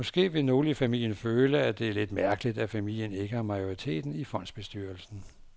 Måske vil nogle i familien føle, at det er lidt mærkeligt, at familien ikke har majoriteten i fondsbestyrelsen.